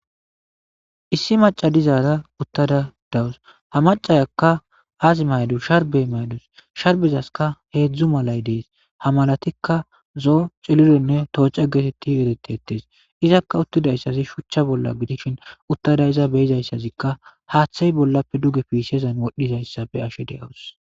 issi maca dizaara uttada dawus ha macayakka as maydus sharbe maydus sharbezaska heedzdzu malay dees ha malatikka zoo celironne tooca geetetti eretettes izakka uttidayssazi shuchcha bolla gidishin uttada iza beyizayssazikka haaththay bollappe dugefiiseezan wodhdhizayssa be ashe deawus